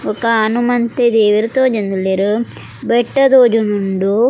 ಬೊಕ್ಕ ಹನುಮಂತೆ ದೇವೆರ್ ತೋಜೊಂದುಲ್ಲೆರ್ ಬೆಟ್ಟ ತೋಜೊಂದುಂಡು.